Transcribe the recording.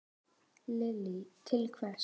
Lillý: Til hvers?